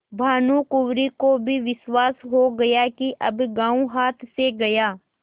भानुकुँवरि को भी विश्वास हो गया कि अब गॉँव हाथ से गया